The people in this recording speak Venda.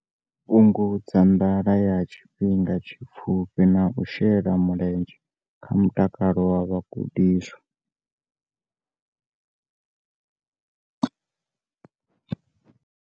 Fhungudza nḓala ya tshifhinga tshipfufhi na u shela mulenzhe kha mutakalo wa vhagudiswa.